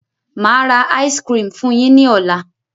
Máa ra "ice cream" fun yin ni ọ̀la.